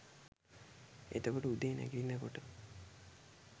එතකොට උදේ නැගිටිනකොට